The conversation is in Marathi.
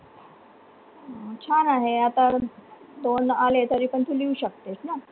अं छान आहे, आता तोंड आले तरी पण तु लिहू शकतेस ना